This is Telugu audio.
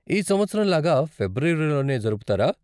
ఈ సంవత్సరం లాగా ఫిబ్రవరిలోనే జరుపుతారా?